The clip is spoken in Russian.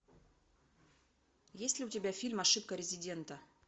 есть ли у тебя фильм ошибка резидента